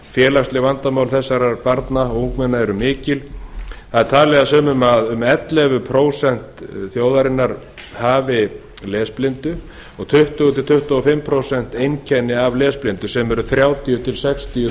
félagsleg vandamál þessara barna og ungmenna eru mikil sumir telja að að um ellefu prósent þjóðarinnar séu lesblind og tuttugu til tuttugu og fimm prósent hafi einkenni af lesblindu sem eru þrjátíu til sextíu